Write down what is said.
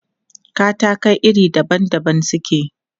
Katakai iri daban daban suke.